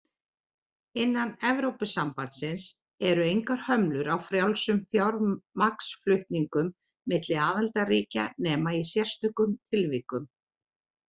Innan Evrópusambandsins eru engar hömlur á frjálsum fjármagnsflutningum milli aðildarríkja nema í sérstökum tilvikum.